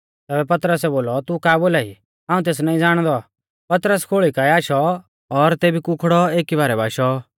तैबै पतरसै बोलौ तू का बोलाई हाऊं तेस नाईं ज़ाणदौ पतरस खोल़ी काऐ आशौ और तेबी कुखड़ौ एकी बारै बाशौ